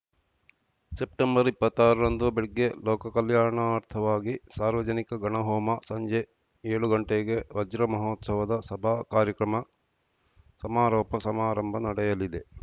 September ಇಪ್ಪತ್ತಾರರಂದು ಬೆಳಗ್ಗೆ ಲೋಕಕಲ್ಯಾಣಾರ್ಥವಾಗಿ ಸಾರ್ವಜನಿಕ ಗಣಹೋಮ ಸಂಜೆ ಏಳು ಗಂಟೆಗೆ ವಜ್ರಮಹೋತ್ಸವದ ಸಭಾ ಕಾರ್ಯಕ್ರಮ ಸಮಾರೋಪ ಸಮಾರಂಭ ನಡೆಯಲಿದೆ